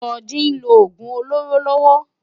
Soji n ló ógún ólóró lòwò